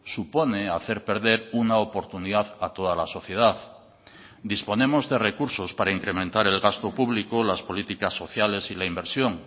supone hacer perder una oportunidad a toda la sociedad disponemos de recursos para incrementar el gasto público las políticas sociales y la inversión